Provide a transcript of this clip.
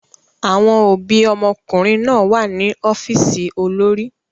Àwọn òbí ọmọkùnrin náà wà ní ọ́fíìsì olórí.